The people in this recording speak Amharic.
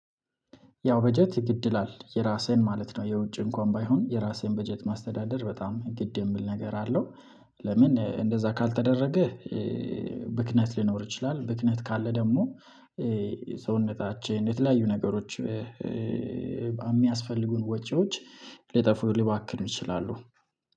ያው በጀት ግድ ይላል የራሴን ማለት ነው የውጭ እንኳን ባይሆን የራሴን በጀት ማስተዳደር በጣም ግድ የሚል ነገር አለው። ለምን እንደዛ ካልተደረገህ? ብክነት ሊኖር ይችላል። ብክነት ካለ ደግሞ ሰውነታችን የተለያዩ ነገሮች የሚያስፈልጉን ወጪዎች ሊጠፉ ሊባክኑ ይችላሉ።